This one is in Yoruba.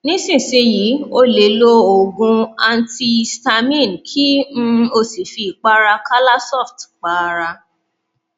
nísinsìnyí o lè lo oògùn antihistamine kí um o sì fi ìpara calasoft pa ara